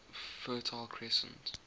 fertile crescent